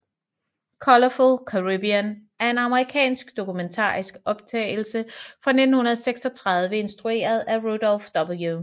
Colorful Caribbean er en amerikansk dokumentarisk optagelse fra 1936 instrueret af Rudolph W